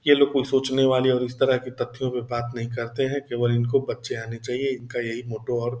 ये लोग कोई सोचने वाली और इस तरह की तथ्य पर बात नहीं करते है केवल इनको बच्चे आने चाहिए इनका यही मोटो और --